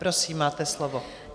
Prosím, máte slovo.